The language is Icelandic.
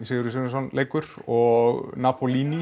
Sigurjónsson leikur og